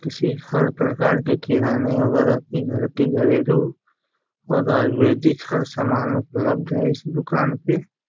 किसी हर प्रकार की किराने वगेरा की घर की घरेलू और आयुर्वेदिक हर सामान उपलब्ध है इस दुकान पे।